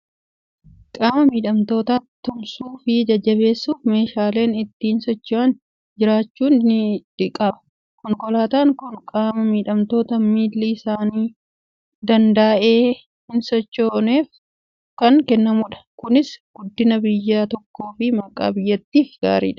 Qaama miidhamtoota tumsuu fi jajjabeessuuf meeshaaleen ittiin socho'an jraachuu ni qaba. Konkolaataan kun qaama miidhamtoota miilli isaanii danda'ee hin sochooneef kan kennamudha. Kunis guddina biyya tokkoo fi maqaa biyyattiif gaariidha.